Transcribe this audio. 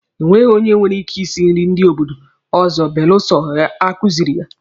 E nweghi onye nwere ike isi nri ndị obodo ọzọ belụsọ a kuziiri ya.